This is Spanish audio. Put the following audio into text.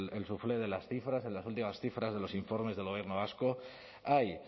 el suflé de las cifras en las últimas cifras de los informes del gobierno vasco hay